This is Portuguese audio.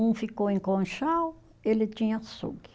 Um ficou em Conchal, ele tinha açougue.